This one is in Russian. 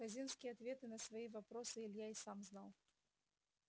хазинские ответы на свои вопросы илья и сам знал